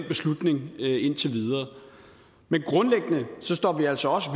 beslutning indtil videre men grundlæggende står vi altså også